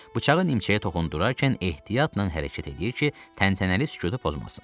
Bıçağı nimçəyə toxundurarkən ehtiyatla hərəkət eləyir ki, təntənəli sükutu pozmasın.